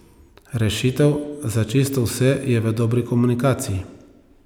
Rešitev za čisto vse je v dobri komunikaciji.